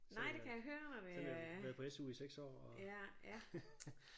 Så selvom jeg har været på SU i 6 år og